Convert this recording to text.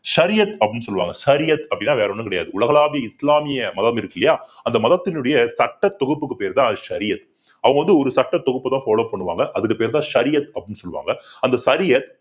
ஷரியத் அப்படின்னு சொல்லுவாங்க ஷரியத் அப்பிடின்னா வேற ஒண்ணும் கிடையாது உலகளாவிய இஸ்லாம்ய மதம் இருக்கு இல்லையா அந்த மதத்தினுடைய சட்ட தொகுப்புக்கு பெயர் தான் ஷரியத் அவங்க வந்து ஒரு சட்டத் தொகுப்பைதான் follow பண்ணுவாங்க அதுக்கு பேர்தான் ஷரியத் அப்படின்னு சொல்லுவாங்க அந்த ஷரியத்